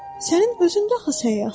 Sənin özün də axı səyyahsın.